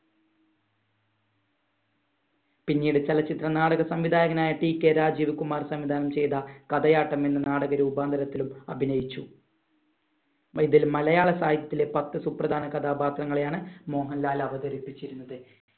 പിന്നീട് ചലച്ചിത്ര നാടക സംവിധായകനായ TK രാജീവ് കുമാർ സംവിധാനം ചെയ്ത കഥയാട്ടം എന്ന നാടക രൂപാന്തരത്തിലും അഭിനയിച്ചു. ഇതിൽ മലയാളസാഹിത്യത്തിലെ പത്ത് സുപ്രധാന കഥാപാത്രങ്ങളെയാണ് മോഹൻലാൽ അവതരിപ്പിച്ചിരുന്നത്.